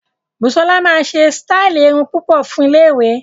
Busola máa ṣe sítáì irun púpọ̀ fún iléèwé